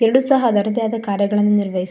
ಎರಡು ಸಹ ಅದ್ರದ್ದೇ ಅದ ಕಾರ್ಯ ಗಳನ್ನೂ ನಿರ್ವಹಿಸಿ --